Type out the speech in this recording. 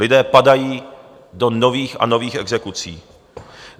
Lidé padají do nových a nových exekucí.